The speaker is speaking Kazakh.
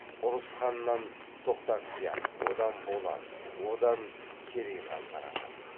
ұрыс ханнан тоқтақия одан болат одан керей хан тараған